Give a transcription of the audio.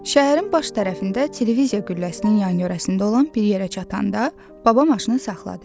Şəhərin baş tərəfində televiziya qülləsinin yan-yörəsində olan bir yerə çatanda, baba maşını saxladı.